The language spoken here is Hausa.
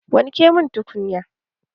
Wanke mun tukunya!